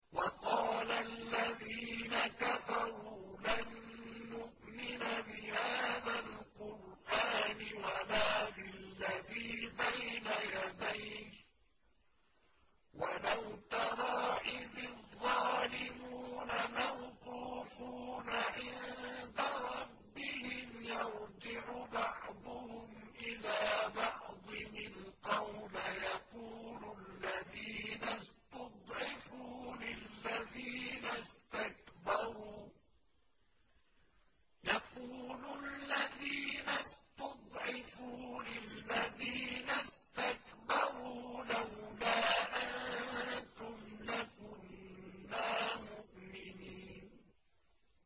وَقَالَ الَّذِينَ كَفَرُوا لَن نُّؤْمِنَ بِهَٰذَا الْقُرْآنِ وَلَا بِالَّذِي بَيْنَ يَدَيْهِ ۗ وَلَوْ تَرَىٰ إِذِ الظَّالِمُونَ مَوْقُوفُونَ عِندَ رَبِّهِمْ يَرْجِعُ بَعْضُهُمْ إِلَىٰ بَعْضٍ الْقَوْلَ يَقُولُ الَّذِينَ اسْتُضْعِفُوا لِلَّذِينَ اسْتَكْبَرُوا لَوْلَا أَنتُمْ لَكُنَّا مُؤْمِنِينَ